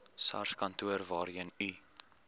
sarskantoor waarheen u